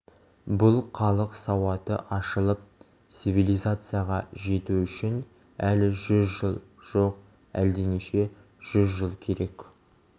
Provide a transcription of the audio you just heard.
бұл халық сауаты ашылып цивилизацияға жету үшін әлі жүз жыл жоқ әлденеше жүз жыл керек